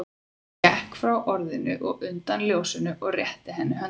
Hann gekk frá orðinu og undan ljósinu og rétti henni höndina.